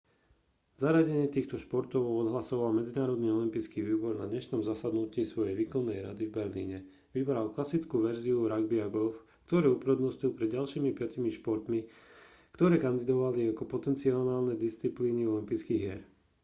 zaradenie týchto športov odhlasoval medzinárodný olympijský výbor na dnešnom zasadnutí svojej výkonnej rady v berlíne vybral klasickú verziu ragby a golf ktoré upradnostnil pred ďalšími piatimi športmi ktoré kandidovali ako potenciálne disciplíny olympijských hier